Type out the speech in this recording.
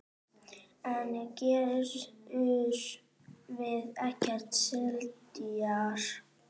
En Gerður vill ekki selja.